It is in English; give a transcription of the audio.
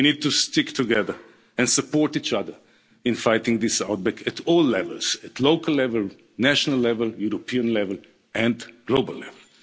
We need to stick together and support each other in fighting this outbreak at all levels at local level, national level, European level and global